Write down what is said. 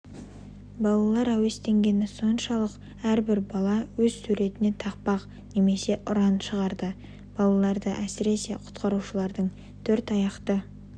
балалар әуестенгені соншалық әрбір бала өз суретіне тақпақ немесе ұран шығарды балаларды әсіресе құтқарушылардың төрт аяқты